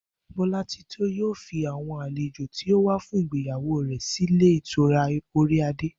Bó̩látitó yóò fi àwo̩n àlejò tí ó wá fún ìgbéyàwó rè̩ sílé ìtura Orí adé